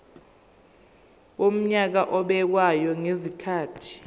wonyaka obekwayo ngezikhathi